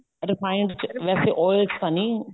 refined ਚ ਵੈਸੇ oil ਚ ਤਾਂ ਨੀ